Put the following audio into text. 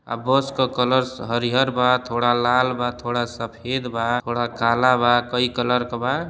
आ बस का कलर हरीहर बा थोड़ा लाल बा थोड़ा सफेद बा थोड़ा कला बा। कई कलर के बा।